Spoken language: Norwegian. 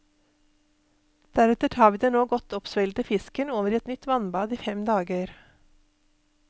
Deretter tar vi den nå godt oppsvellede fisken over i et nytt vannbad i fem dager.